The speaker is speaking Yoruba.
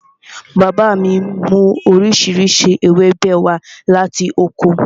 Bàbá mi mú oríṣiríṣi ewébẹ̀ wá láti oko